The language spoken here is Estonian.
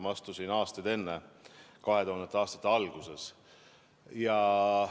Ma astusin aastaid enne, 2000. aastate alguses.